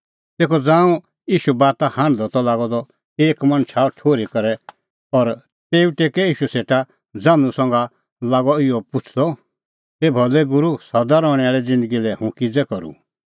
तेखअ ज़ांऊं ईशू बाता हांढदअ त लागअ द एक मणछ आअ ठुर्ही करै और तेऊ टेकै ईशू सेटा ज़ान्हूं संघा लागअ इहअ पुछ़दअ हे भलै गूरू सदा रहणैं आल़ी ज़िन्दगी लै हुंह किज़ै करूं